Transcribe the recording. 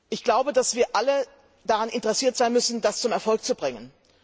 Ich glaube, dass wir alle daran interessiert sein müssen, das zu einem Erfolg zu bringen.